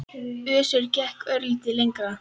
Össur gekk örlítið lengra.